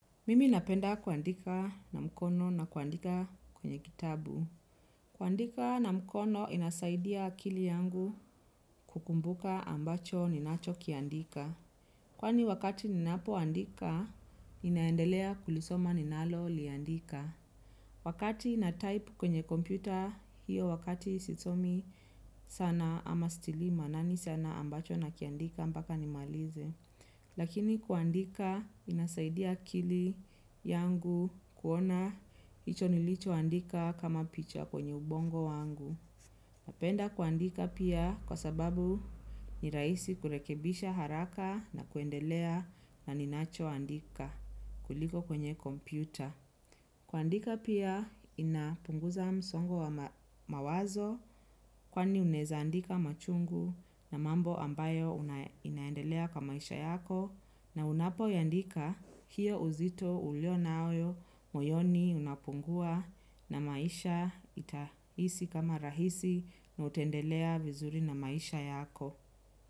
Mimi napenda kuandika na mkono na kuandika kwenye kitabu. Kuandika na mkono inasaidia akili yangu kukumbuka ambacho ninachokiandika. Kwani wakati ninapoandika, ninaendelea kulisoma ninaloliandika. Wakati natype kwenye kompyuta hiyo wakati sisomi sana ama sitilii maanani sana ambacho nakiandika mpaka nimalize. Lakini kuandika inasaidia akili yangu kuona hicho nilichoandika kama picha kwenye ubongo wangu. Napenda kuandika pia kwa sababu ni rahisi kurekebisha haraka na kuendelea na ninachoandika kuliko kwenye kompyuta. Kuandika pia inapunguza msongo wa mawazo kwani unaeza andika machungu na mambo ambayo inaendelea kwa maisha yako na unapoandika hiyo uzito ulio nayo moyoni unapungua na maisha itahisi kama rahisi na utaendelea vizuri na maisha yako.